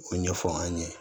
O ɲɛfɔ an ɲe